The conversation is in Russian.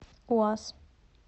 уаз